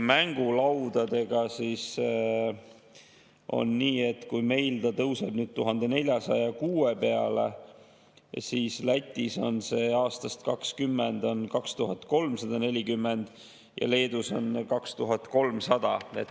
Mängulaudadega on nii, et kui meil see tõuseb 1406 peale, siis Lätis on see 2020. aastast 2340 ja Leedus on 2300.